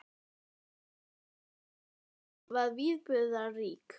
Þannig að nóttin hjá ykkur var viðburðarík?